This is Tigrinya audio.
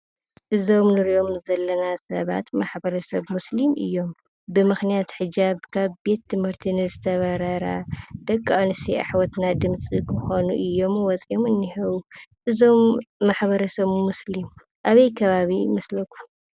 እዞም ንሪኦም ዘለና ሰባት ማሕበረሰብ ሞስሊም እዮም፡፡ ብምኽንያት ሕጃብ ካብ ቤት ትምህርቲ ንዝተባበራ ደቂ አንስትዮ አሕዋትና ድምፂ ክኾኑ እዮም ወፅዮም እኒህው ።እዞም ማሕበረሰብ ሞስሊም አበይ ከባቢ ይመስለኩም?